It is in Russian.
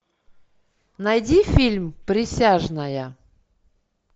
найди фильм присяжная